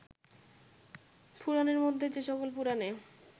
পুরাণের মধ্যে যে সকল পুরাণে